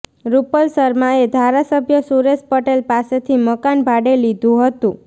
રૂપલ શર્માએ ધારાસભ્ય સુરેશ પટેલ પાસેથી મકાન ભાડે લીધુ હતું